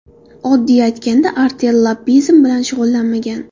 Oddiy aytganda Artel lobbizm bilan shug‘ullanmagan.